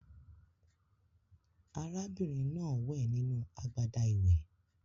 Àrà bìnrin náà wẹ̀ nínú agbada ìwẹ̀